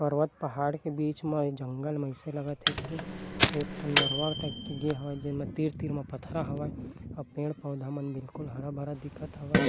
पर्वत पहाड़ के बीच म ए जंगल म अइसे लगत हे कि एक ठी नरवा टाइप के गे हवय जेन म तीर-तीर में पथरा हवय अउ पेड़-पौधा मन बिलकुल हरा-भरा दिखत हवय।